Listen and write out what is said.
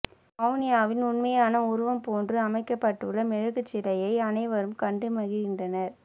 மெலானியாவின் உண்மையான உருவம் போன்று அமைக்கப்பட்டுள்ள மெழுகுச்சிலையை அனைவரும் கண்டு மகிழ்கின்றனர்